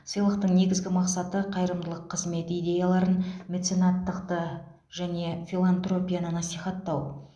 сыйлықтың негізгі мақсаты қайырымдылық қызмет идеяларын меценаттықты және филантропияны насихаттау